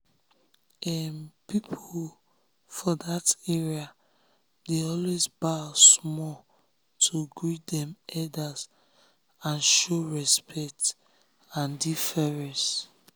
um people for that area dey always bow small to um greet dem elders to um show respect show respect and deference.